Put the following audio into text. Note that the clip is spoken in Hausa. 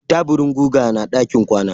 Taburin guga na ɗakin kwana.